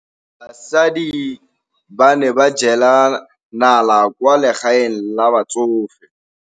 Basadi ba ne ba jela nala kwaa legaeng la batsofe.